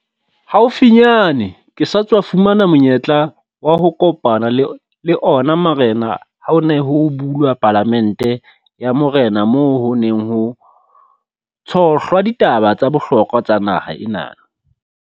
Haufinyane ke sa tswa fumana monyetla wa ho kopana le ona marena ha ho ne ho bulwa Palamente ya Morena moo ho neng ho tshohlwa ditaba tsa bohlokwa tsa naha ena.